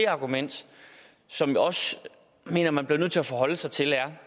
argument som jeg også mener man bliver nødt til at forholde sig til lad